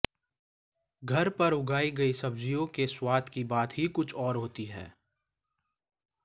घर पर उगाई गई सब्जियों के स्वाद की बात ही कुछ और होती है